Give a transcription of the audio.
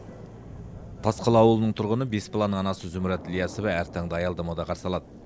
тасқала ауылының тұрғыны бес баланың анасы зұмрат ілиясова әр таңды аялдамада қарсы алады